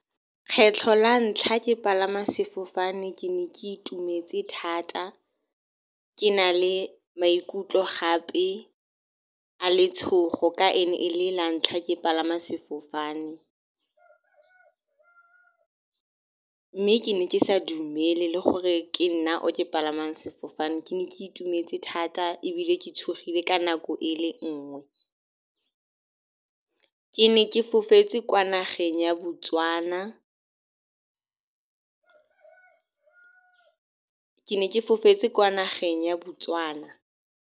Kgetlho la ntlha ke palama sefofane ke ne ke itumetse thata, ke na le maikutlo gape a letshogo ka e ne e le la ntlha ke palama sefofane. Mme ke ne ke sa dumele le gore ke nna o ke palamang sefofane, ke ne ke itumetse thata ebile ke tshogile ka nako e le nngwe. Ke ne ke fofetse kwa nageng ya Botswana.